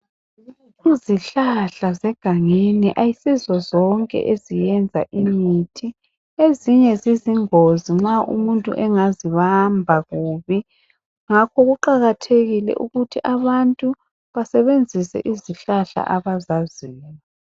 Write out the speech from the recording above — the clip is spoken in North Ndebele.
Izihlahla zegangeni ayisizo zonke eziyenza imithi. Ezinye zizingozi nxa umuntu engazibamba kubi. Ngakho kuqakathekile ukuthi abantu basebenzise izihlahla abazaziyo.